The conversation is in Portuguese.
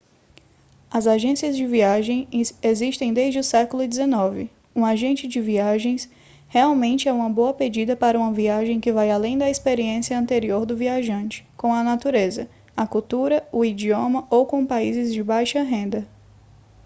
as agências de viagens existem desde o século xix um agente de viagens geralmente é uma boa pedida para uma viagem que vai além da experiência anterior do viajante com a natureza a cultura o idioma ou com países de baixa renda